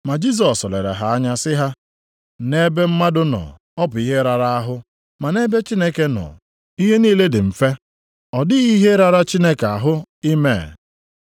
Ma Jisọs lere ha anya sị ha, “Nʼebe mmadụ nọ, ọ bụ ihe rara ahụ. Ma nʼebe Chineke nọ, ihe niile dị mfe. Ọ dịghị ihe rara Chineke ahụ ime.”